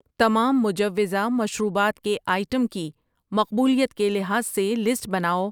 تمام مجوّزہ مشروبات کے آئٹم کی مقبولیت کے لحاظ سے لسٹ بناؤ۔